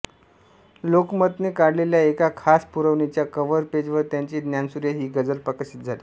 लोकमतने काढलेल्या एका खास पुरवणीच्या कव्हर पेज वर त्यांची ज्ञानसूर्य हि गझल प्रकाशित झाली